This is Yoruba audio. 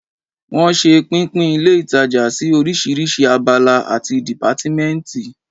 Wọ́n ṣe pínpín ilé ìtajà sí orísirísi abala àti dìpátímẹ́ǹtì